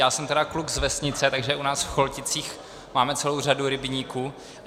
Já jsem teda kluk z vesnice, takže u nás v Cholticích máme celou řadu rybníků.